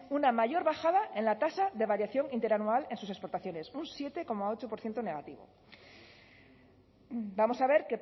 una mayor bajada en la tasa de variación interanual en sus exportaciones un siete coma ocho por ciento negativo vamos a ver